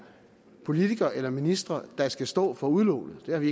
politikere eller ministre der skal stå for udlån det har vi